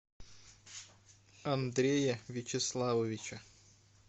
андрея вячеславовича